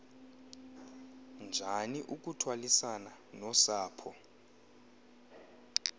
njani ukuthwalisana nosapho